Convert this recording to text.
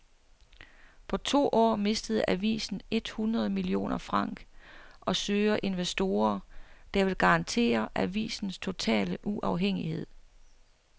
På to år mistede avisen et hundrede millioner franc og søger investorer, der vil garantere avisens totale uafhængighed.